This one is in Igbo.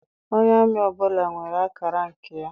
Onye amị ọbụla nwere akara nke ya.